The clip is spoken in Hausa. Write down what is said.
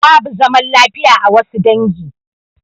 Babu zaman lafiya a wassu dangi